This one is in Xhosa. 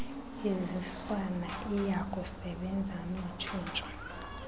iziswayo iyakusebenza notshintsho